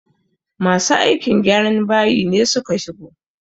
Masu aikin gyran bayi ne suka shigo